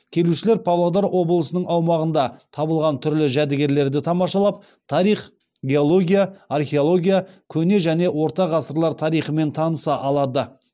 келушілер павлодар облысының аумағында табылған түрлі жәдігерлерді тамашалап тарих геология археология көне және орта ғасырлар тарихымен таныса алады